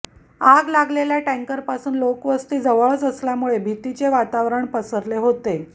आग लागलेल्या टँकरपासून लोकवस्ती जवळच असल्यामुळे भीतीचे वातावरण पसरले होते